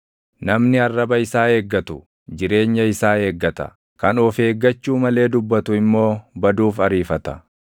Namni arraba isaa eeggatu, jireenya isaa eeggata; kan of eeggachuu malee dubbatu immoo baduuf ariifata.